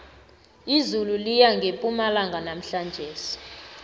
izulu liyana ngepumalanga namhlanjesi